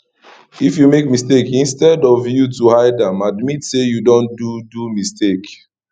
if you make mistake instead of ypu to hide am admit sey you don do do mistake